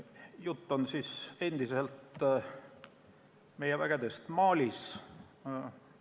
Jutt on endiselt meie vägedest Malis.